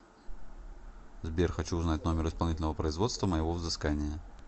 сбер хочу узнать номер исполнительного производства моего взыскания